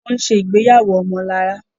Wón ṣe ìgbéyàwó omolara